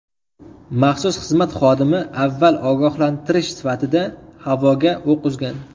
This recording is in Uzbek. Maxsus xizmat xodimi avval ogohlantirish sifatida havoga o‘q uzgan.